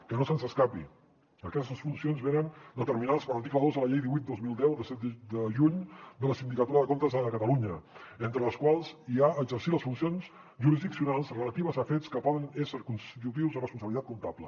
que no se’ns escapi aquestes funcions venen determinades per l’article dos de la llei divuit dos mil deu de set de juny de la sindicatura de comptes de catalunya entre les quals hi ha exercir les funcions jurisdiccionals relatives a fets que poden ésser constitutius de responsabilitat comptable